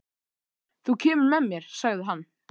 Þú kemur með mér, sagði hann.